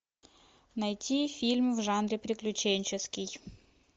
найти фильм в жанре приключенческий